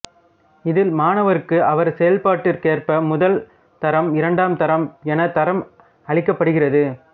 இதில் மாணவருக்கு அவர் செயல்பாட்டிற்கேற்ப முதல் தரம்இரண்டாம் தரம் என தரம் அளிக்கப்படுகிறது